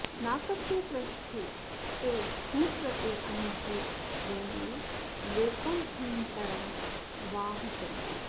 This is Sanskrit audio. नाकस्य पृष्ठे ते सुकृतेऽनुभूत्वेमं लोकं हीनतरं वा विशन्ति